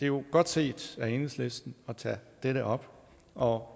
jo godt set af enhedslisten at tage dette op og